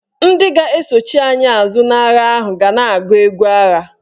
Ndị ga-esochi anyị azụ n'agha ahụ ga na-agụ egwu agha.